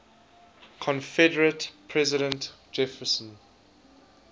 confederate president jefferson